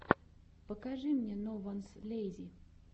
покажи мне нованслейзи